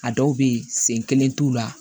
A dɔw bɛ yen sen kelen t'u la